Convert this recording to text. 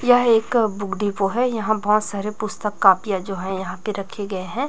यह एक book depot है यहां बहुत सारे पुस्तक कॉपियां जो है यहां पे रखे गए हैं।